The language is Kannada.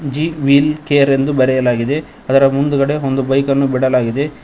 ಜಿ ವೀಲ್ ಕೇರ್ ಎಂದು ಬರೆಯಲಾಗಿದೆ ಅದರ ಮುಂದೆ ಒಂದು ಬೈಕ್ ಅನ್ನು ಬಿಡಲಾಗಿದೆ.